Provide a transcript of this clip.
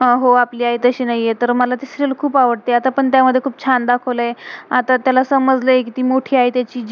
हा हो. आपली आई तशी नाहीये. तर मला ते सीरियल serial खुप आवडते. अता तर त्यामध्ये खुप छान दाखवलय. अता त्याला सम्ज्लय कि ती मोठी आई त्याची